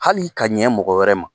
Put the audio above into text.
Hali ka ɲɛ mɔgɔ wɛrɛ ma.